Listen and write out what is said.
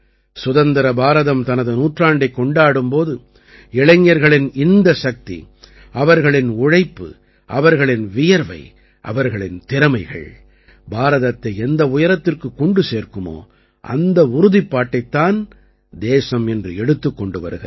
சுதந்திர பாரதம் தனது நூற்றாண்டைக் கொண்டாடும் போது இளைஞர்களின் இந்தச் சக்தி அவர்களின் உழைப்பு அவர்களின் வியர்வை அவர்களின் திறமைகள் பாரதத்தை எந்த உயரத்திற்குக் கொண்டு சேர்க்குமோ அந்த உறுதிப்பாட்டைத் தான் தேசம் இன்று எடுத்துக் கொண்டு வருகிறது